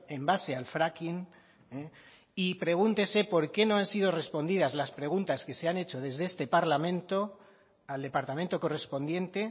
en base al fracking y pregúntese por qué no han sido respondidas las preguntas que se han hecho desde este parlamento al departamento correspondiente